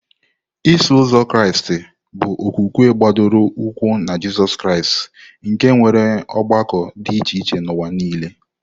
Iso Ụzọ Kraịst bụ okwukwe gbadoro ụkwụ na Jizọs Kraịst, nke nwere ọgbakọ dị iche iche n'ụwa nile.